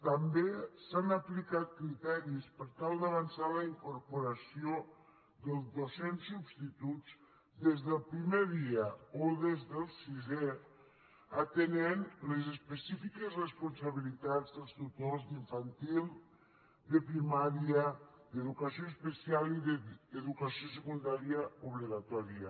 també s’han aplicat criteris per tal d’avançar la incorporació dels docents substituts des del primer dia o des del sisè atenent a les específi·ques responsabilitats dels tutors d’infantil de primà·ria d’educació especial i d’educació secundària obli·gatòria